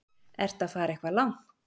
Ertu að fara eitthvað langt?